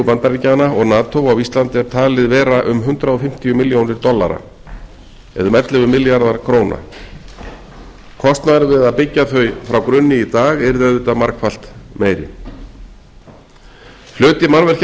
bandaríkjanna og nato á íslandi er talið vera um hundrað fimmtíu milljónir dollara eða um ellefu milljarðar króna kostnaður við að byggja þau nú yrði auðvitað margfalt meiri hluti